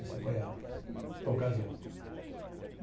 Esse foi a ocasião.